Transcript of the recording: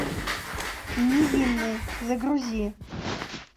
невинные загрузи